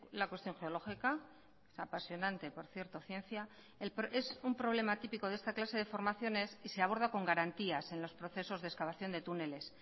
la cuestión geológica apasionante por cierto ciencia es un problema típico de esta clase de formaciones y se aborda con garantías en los procesos de excavación de túneles